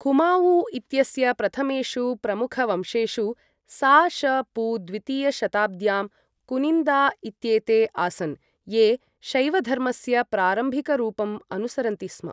कुमाऊ इत्यस्य प्रथमेषु प्रमुखवंशेषु सा.श.पू. द्वितीयशताब्द्यां कुनिन्दा इत्येते आसन्, ये शैवधर्मस्य प्रारम्भिकरूपम् अनुसरन्ति स्म।